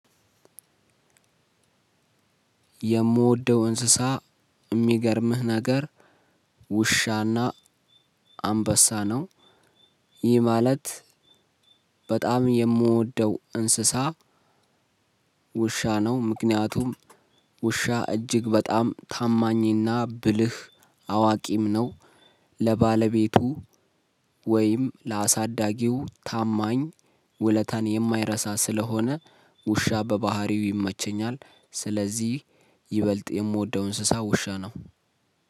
የምወደው እንስሳ የሚገርምህ ነገር ውሻና አንበሳ ነው ይህ ማለት በጣም የምወደው እንስሳ ውሻ ነው። ምክንያቱም ውሻ እጅግ በጣም ታማኝና ብልህ አዋቂም ነው። ለባለቤቱ ወይም ለአሳዳጊው ታማኝ ዉለታን የማይረሳ ስለሆነ ውሻ በባህሪው ይመቸኛል። ስለዚህ ይበልጥ የምወደው እንሰሳት ውሻ ነው።